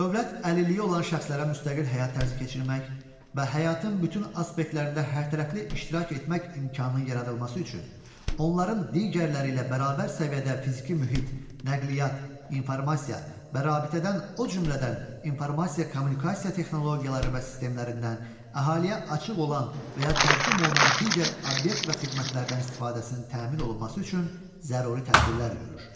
Dövlət əlilliyi olan şəxslərə müstəqil həyat tərzi keçirmək və həyatın bütün aspektlərində hərtərəfli iştirak etmək imkanının yaradılması üçün onların digərləri ilə bərabər səviyyədə fiziki mühit, nəqliyyat, informasiya və rabitədən, o cümlədən informasiya-kommunikasiya texnologiyaları və sistemlərindən, əhaliyə açıq olan və ya təqdim olunan digər obyekt və xidmətlərdən istifadəsinin təmin olunması üçün zəruri tədbirlər görür.